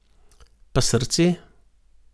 Pa srce?